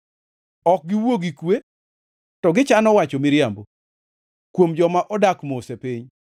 Ok giwuo gi kwe, to gichano wacho miriambo, kuom joma odak mos e piny.